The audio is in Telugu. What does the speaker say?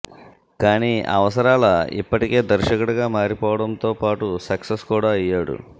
కానీ అవసరాల ఇప్పటికే దర్శకుడిగా మారిపోవడంతో పాటు సక్సెస్ కూడా అయ్యాడు